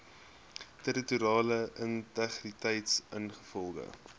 territoriale integriteit ingevolge